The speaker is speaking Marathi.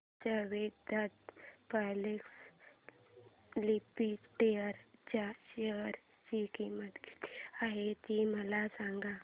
आज वेदांता पब्लिक लिमिटेड च्या शेअर ची किंमत किती आहे मला सांगा